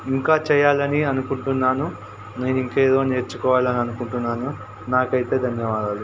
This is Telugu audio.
ఇంకా చేయ్యాలని అనుకుంటున్నాను. నేనింకేదో నేర్చుకోవాలని అనుకొంటున్నాను. నాకైతే ధన్యవాదాలు.